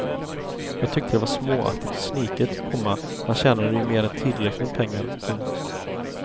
Jag tyckte det var småaktigt och sniket, komma han tjänade ju mer än tillräckligt med pengar. punkt